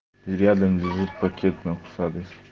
и рядом лежит пакет на фасаде